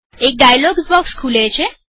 એક dialog box ખુલે છે